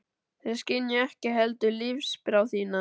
Þeir skynja ekki heldur lífsþrá þína.